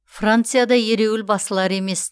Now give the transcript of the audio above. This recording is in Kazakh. францияда ереуіл басылар емес